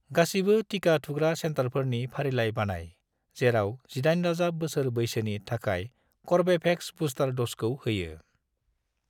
गासिबो टिका थुग्रा सेन्टारफोरनि फारिलाइ बानाय जेराव 18+ बोसोर बैसोनि थाखाय कर्वेभेक्सनि बुस्टार द'जखौ होयो।